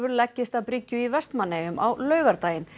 leggist að bryggju í Vestmannaeyjum á laugardaginn